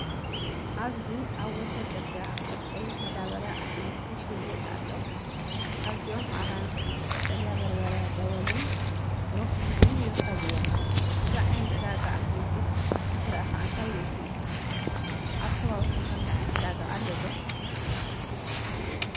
ኣብዚ ኣብ ወሰን ጽርግያ ኣብ ቀይሕ መዳበርያ ኣሕምልቲ ይሽየጥ ኣሎ። ካብዚኦም ኣራንሺ፣ ቀጠልያ በርበረ ደወልን ብሮኮሊን ይርከብዎም። እዚ ዓይነት ዕዳጋ ኣሕምልቲ ምስ ረኣኻ እንታይ ይመስለካ? ኣብ ከባቢኩም ከምዚ ዓይነት ዕዳጋ ኣሎ ዶ?